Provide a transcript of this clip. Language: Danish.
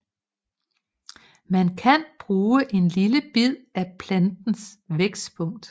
Man kan bruge en lille bid af plantens vækstpunkt